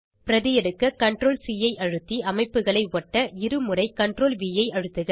பிரதி எடுக்க CTRL C ஐ அழுத்து அமைப்புகளை ஒட்ட இருமுறை CTRLV ஐ அழுத்துக